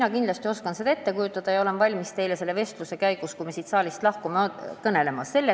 Ma kindlasti oskan seda ette kujutada ja olen valmis teile pärast siit saalist lahkumist sellest kõnelema.